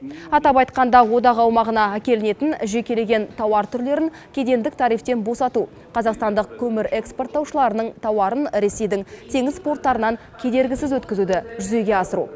атап айтқанда одақ аумағына әкелінетін жекелеген тауар түрлерін кедендік тарифтен босату қазақстандық көмір экспорттаушыларының тауарын ресейдің теңіз порттарынан кедергісіз өткізуді жүзеге асыру